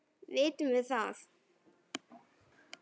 Vitum við það?